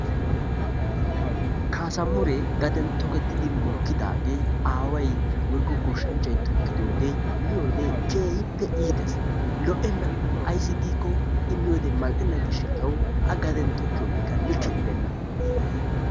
Kaasamure gaden tokketidi mokkidaagee aaway woykko goshshanchchay tokkidoogee miyyoode keehippe iittees. lo''ena ayssi giiko I miyyoode mal''ena gishshawu a gaden tokkiyoogekka likke gidenna.